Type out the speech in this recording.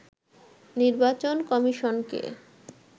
নির্বাচন কমিশনকে